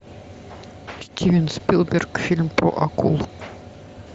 стивен спилберг фильм про акул